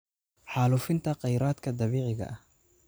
Xaalufinta Kheyraadka Dabiiciga ah.